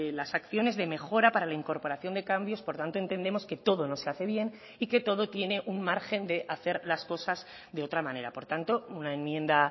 las acciones de mejora para la incorporación de cambios por tanto entendemos que todo no se hace bien y que todo tiene un margen de hacer las cosas de otra manera por tanto una enmienda